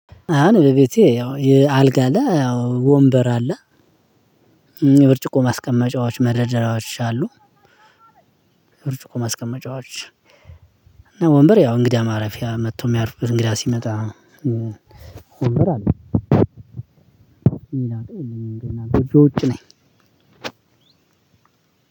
በቤቴ ያው አልጋ ያው ወንበር አለ የብርጭቆ ማስቀመጫዎች መደራደሪያዎች አሉ። ብርጭቆ ማስቀመጫዎች እና ወንበር ያው እንግዳ ማረፊያ መጥቶ የሚያርፍበት እንግዳ ሲመጣ ወንበር አለኝ ሌላ እቃ የለኝም። ገና ጎጆ ውጪ ነኝ።